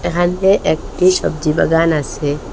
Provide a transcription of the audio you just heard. এখানে একটি সবজি বাগান আসে।